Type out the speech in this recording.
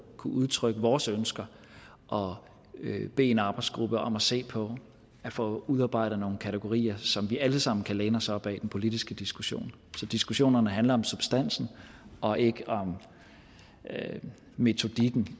kunne udtrykke vores ønsker og bede en arbejdsgruppe om at se på at få udarbejdet nogle kategorier som vi alle sammen kan læne os op ad i den politiske diskussion så diskussionerne handler om substansen og ikke om metodikken